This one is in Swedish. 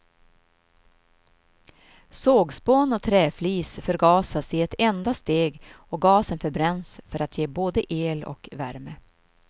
Sågspån och träflis förgasas i ett enda steg och gasen förbränns för att ge både el och värme.